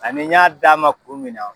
Ani n y'a d'a ma kun min na